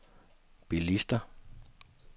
bilister